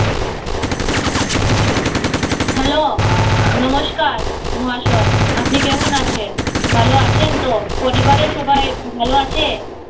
hello নমস্কার মহাশয় আপনি কেমন আছেন ভালো আছেন তো পরিবারের সবাই ভালো আছে